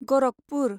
Gorakhpur